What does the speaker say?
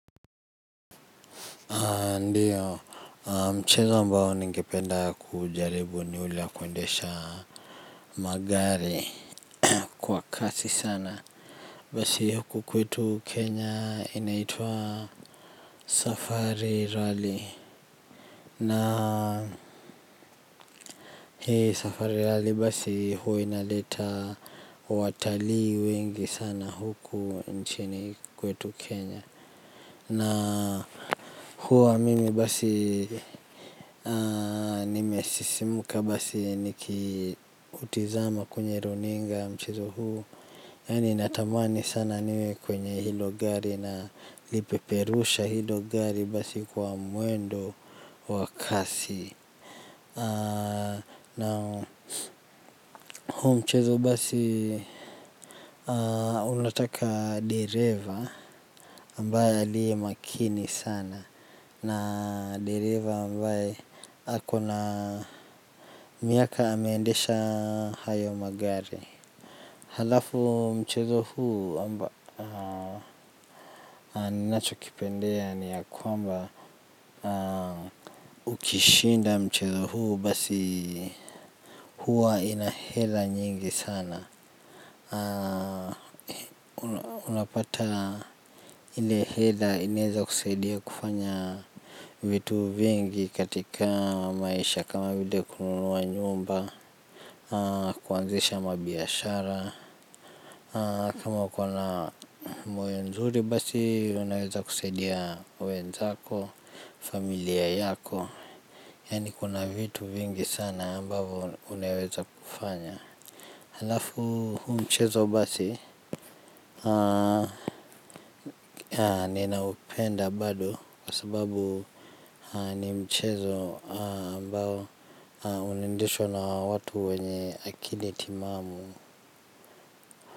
Ndio, mchezo ambao ningependa kuujaribu ni ule wa kuendesha magari kwa kasi sana. Basi huku kwetu Kenya inaitwa Safari Rally, na hii Safari Rally basi huwa inaleta watalii wengi sana huku nchini kwetu Kenya na huwa mimi basi nimesisimka basi nikiutizama kwenye runinga mchezo huu. Yani natamani sana niwe kwenye hilo gari na lipeperusha hilo gari basi kwa mwendo wa kasi na huu mchezo basi unataka dereva ambaye aliye makini sana. Na dereva ambaye akona miaka ameandesha hayo magari. Halafu mchezo huu ninacho kipendea ni ya kwamba ukishinda mchezo huu basi hua ina hela nyingi sana. Unapata ile hela inaweza kusaidia kufanya vitu vingi katika maisha kama vile kununua nyumba. Kuanzisha mabiashara, kama uko na moyo mzuri basi unaweza kusaidia wenzako. Familia yako. Yaani kuna vitu vingi sana ambavyo unaweza kufanya. Halafu huu mchezo basi ninaupenda bado kwa sababu ni mchezo ambao unaendeshwa na watu wenye akili timamu.